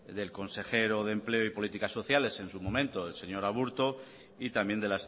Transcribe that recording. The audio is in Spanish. del consejero de empleo y políticas sociales en su momento el señor aburto y también de